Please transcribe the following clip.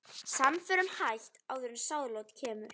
Samförum hætt áður en sáðlát kemur.